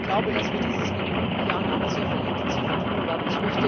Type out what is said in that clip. Ich glaube, dass wir das in den kommenden Jahren auch noch sehr viel intensiver tun werden.